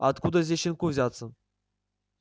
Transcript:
а откуда здесь щенку взяться